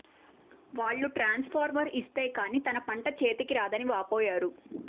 వాళ్లు ట్రాన్సుఫార్మర్ ఇస్తే కానీ తన పంట చేతికి రాదని వాపోయారు